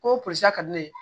Ko polisi ka di ne ye